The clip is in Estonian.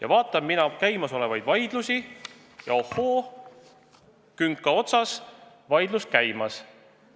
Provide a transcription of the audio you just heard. Aga vaatan mina käimasolevaid vaidlusi ja näen: ohoo, künka otsas on vaidlus käimas.